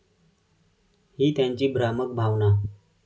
ही त्यांची भ्रामक भावना.